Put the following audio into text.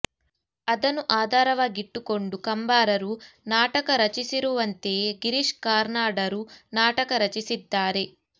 ಅದನ್ನು ಆಧಾರವಾಗಿಟ್ಟುಕೊಂಡು ಕಂಬಾರರು ನಾಟಕ ರಚಿಸಿರುವಂತೆಯೇ ಗಿರೀಶ್ ಕಾರ್ನಾಡರೂ ನಾಟಕ ರಚಿಸಿದ್ದಾರೆ